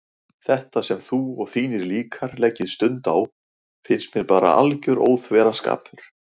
Þetta sem þú og þínir líkar leggið stund á finnst mér bara alger óþverraskapur.